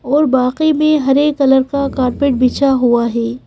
और बाकी में हरे कलर का कारपेट बिछा हुआ है।